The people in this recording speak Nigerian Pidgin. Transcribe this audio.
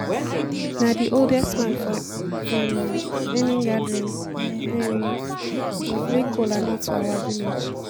na the oldest man for um any gathering um dey break kola nut for our village